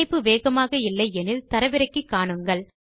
இணைப்பு வேகமாக இல்லை எனில் தரவிறக்கி காணுங்கள்